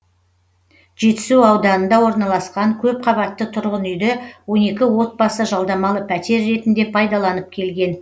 жетісу ауданында орналасқан көп қабатты тұрғын үйді он екі отбасы жалдамалы пәтер ретінде пайдаланып келген